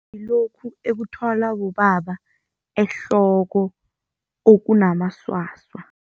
Ngilokhu ekuthwalwa bobaba ehloko okunamasasa.